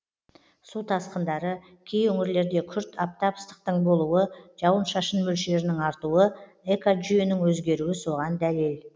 су тасқындары кей өңірлерде күрт аптап ыстықтың болуы жауын шашын мөлшерінің артуы экожүйенің өзгеруі соған дәлел